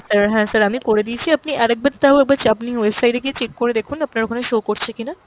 sir, হ্যাঁ sir আমি করে দিয়েছি আপনি আরেকবার তাও আবার আপনি website এ গিয়ে check করে দেখুন আপনার ওখানে show করছে কিনা।